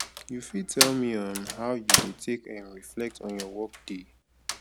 you fit tell me um how you dey take um reflect on your workday